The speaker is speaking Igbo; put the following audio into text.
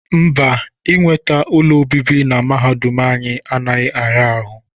Mba, inweta ụlọ obibi na mahadum anyị anaghị ara ahụ